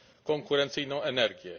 konkurencyjną energię.